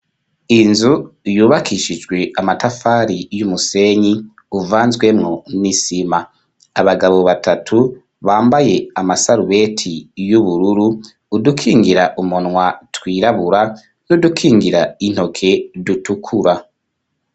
Inzu yubakishijwe amatafari y'umusenyi uvanzwemo n'isima abagabo batatu bambaye amasarubeti y'ubururu udukingira umunwa twirabura n'udukingira intoke dutukura.